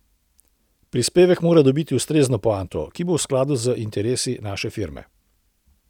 Prispevek mora dobiti ustrezno poanto, ki bo v skladu s interesi naše firme.